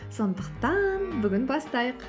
сондықтан бүгін бастайық